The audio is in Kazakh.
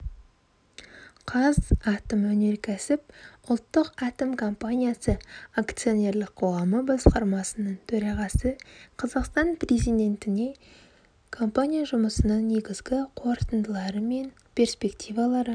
қазатомөнеркәсіп ұлттық атом компаниясы акционерлік қоғамы басқармасының төрағасы қазақстан президентіне компания жұмысының негізгі қорытындылары мен перспективалары